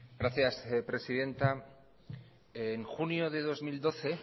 gracias presidenta en junio de dos mil doce